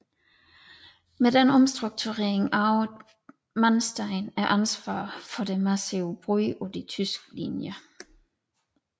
Med denne omstrukturering arvede Manstein ansvaret for det massive brud på de tyske linjer